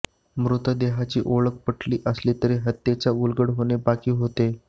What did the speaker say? मृतदेहाची ओळख पटली असली तरी हत्येचा उलगडा होणे बाकी होते